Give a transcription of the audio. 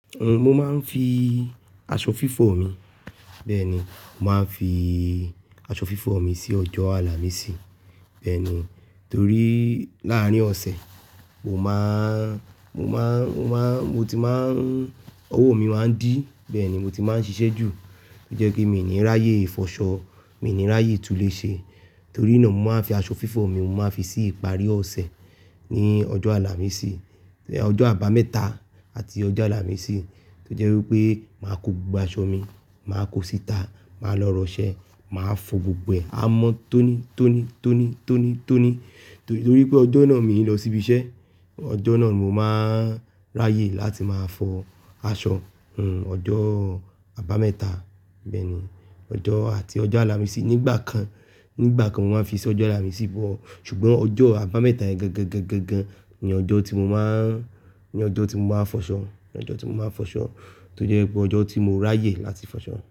Mo máa ń fi aṣọ fífọ̀ mi. Bẹ́ẹ̀ni, mo máa ń fi aṣọ fífọ̀ mi sí ọjọ́ Àlàmísì. Bẹ́ẹ̀ni, torí làárín ọ̀sẹ̀, mo máa n, mo máa n, mo máa n, mo ti máa ń, ọwọ́ mi máa ń dí. Bẹ́ẹ̀ ni, mo ti máa ń ṣiṣẹ́ jù. To jẹ́ kí mi n ní ráyè fọṣọ, mi n ní ráyè túnléṣe. Torí náà mo máa ń fi aṣọ fífọ̀ mi, mo máa n fi sí ìparí ọ̀sẹ̀ ní ọjọ́ Àlàmísì, ọjọ́ àbámẹ́ta àti ọjọ́ Àlàmísì tó jẹ́ wí pé màá kó gbogbo aṣọ mi, màá kó síta, màá lọ ra ọṣẹ́, màá fọ gbogbo e à mọ́ tóní tóní tóní tóní tóní. Torí pé ọjọ́ náà mii n lọ síbi iṣẹ́. Ọjọ́ náà mo máa ń ráyè láti máa fọ aṣọ. Uhm, ọjọ́ àbámẹ́ta bẹ́ẹ̀ni, ọjọ́ àti ọjọ́ Àlàmísì nígbà kan, nígbà kan mo máa ń fi sí ọjọ́ Àlàmísì but ṣùgbọ́n ọjọ́ àbámẹ́ta yen gangan gangan gangan ni ọjọ́ tí mo máa ń, ní ọjọ́ tí mo máa ń fọṣọ, ní ọjọ́ tí mo máa ń fọṣọ tó jẹ́ pé ọjọ́ tí mo ráyè láti fọṣọ.